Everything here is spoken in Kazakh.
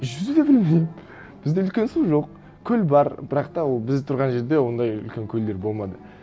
жүзу де білмеймін бізде үлкен су жоқ көл бар бірақ та ол біз тұрған жерде ондай үлкен көлдер болмады